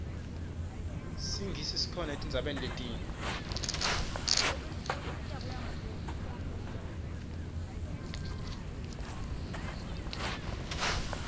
sinyisi sikhona etinbzaueni letingienti